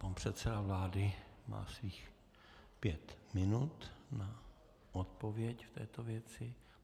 Pan předseda vlády má svých pět minut na odpověď v této věci.